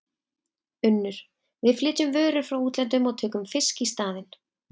UNNUR: Við flytjum vörur frá útlöndum og tökum fisk í staðinn.